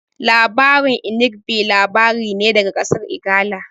Labarin Inigɓi labari ne daga ƙasar Igala